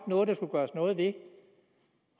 noget der skulle gøres noget ved